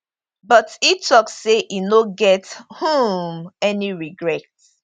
but e tok say e no get um any regret